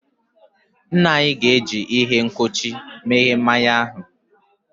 Nna anyi ga-eji ihe nkuchi meghee mmanya ahu.